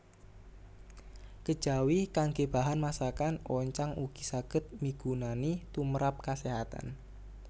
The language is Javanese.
Kejawi kanggé bahan masakan oncang ugi saged migunani tumrap kaséhatan